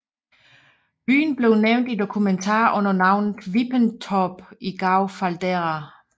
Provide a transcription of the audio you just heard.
Byen blev nævnt i dokumenter under navnet Wippenthorp i Gau Faldera